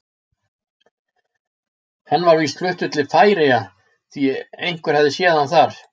Hann var víst fluttur til Færeyja því einhver hafði séð hann þar.